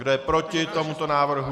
Kdo je proti tomuto návrhu?